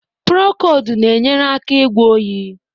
Prokold na-enyere aka ịgwọ oyi.